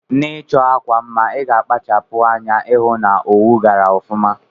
Na ichọ akwa mma iga akpachapu anya ihụ na owu gara ọfuma.